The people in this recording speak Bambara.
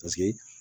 Paseke